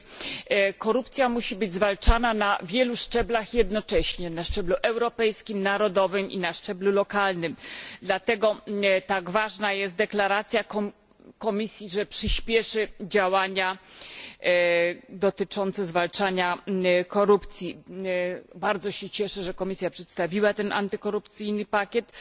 Pani Komisarz! Korupcja musi być zwalczana na wielu szczeblach jednocześnie na szczeblu europejskim, narodowym i lokalnym. Dlatego tak ważna jest deklaracja Komisji, że przyspieszy działania dotyczące zwalczania korupcji. Bardzo się cieszę, że Komisja przedstawiła antykorupcyjny pakiet,